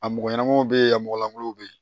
A mɔgɔ ɲɛnamaw bɛ yen a mɔgɔ lankolon bɛ yen